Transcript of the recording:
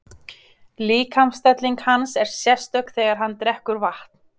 Líkamsstelling hans er sérstök þegar hann drekkur vatn.